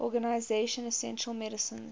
organization essential medicines